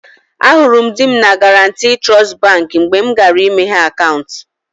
Ahụrụ m di m na Guarantee Trust Baankị mgbe mụ gara ịmeghe akaụntụ